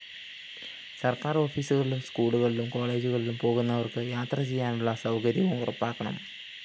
സര്‍ക്കാര്‍ ഓഫീസുകളിലും സ്‌കൂളുകളിലും കോളേജുകളിലും പോകുന്നവര്‍ക്ക് യാത്രചെയ്യാനുള്ള സൗകര്യവും ഉറപ്പാക്കണം